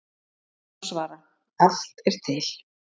Henni má svara: Allt er til.